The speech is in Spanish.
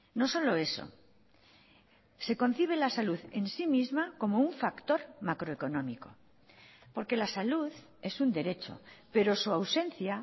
no solo eso se concibe la salud en sí misma como un factor macroeconómico porque la salud es un derecho pero su ausencia